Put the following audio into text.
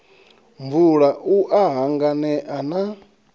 mvula u a hanganea na